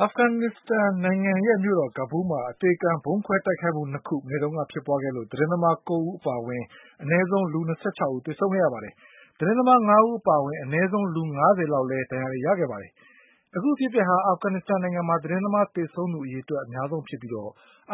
အာဖဂန်နစ္စတန်နိုင်ငံရဲ့မြို့တော် ကာဘူးလ်မှာ အသေခံဗုံးခွဲတိုက်ခိုက်မှု ၂ခု မနေ့ကဖြစ်ပွါးခဲ့လို့ သတင်းသမား ၉ဦး အပါ အဝင် အနည်းဆုံးလူ၂၆ဦးသေဆုံးခဲ့ရပါတယ်။ သတင်းသမား၅ဦးအပါအဝင် အနည်းဆုံးလူ၅၀ဆယ်လောက်လည်း ဒဏ် ရာတွေ ရခဲ့တာပါ။ အခုအဖြစ်အပျက်ဟာ အာဖဂန်နစ္စတန်မှာ သတင်းသမားသေဆုံးသူအရေအတွက်အများဆုံးဖြစ်ပြီး